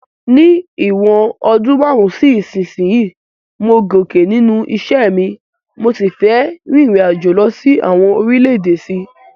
Ní ìwòn odún marun si isínsìnyí, mo gòkè nínú isẹ́ mi, mo si fe ririnajo lo sí àwon orílẹ̀dè sí